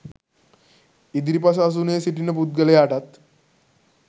ඉදිරිපස අසුනේ සිටින පුද්ගලයාටත්